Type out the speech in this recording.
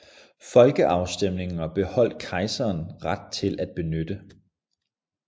Folkeafstemninger beholdt kejseren ret til at benytte